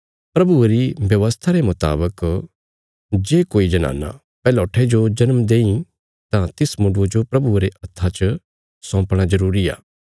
प्रभुये री व्यवस्था रे मुतावक जे कोई जनाना पैहलौठे जो जन्म देईं तां तिस मुण्डुये जो प्रभुये रे हत्था सौंपणा जरूरी आ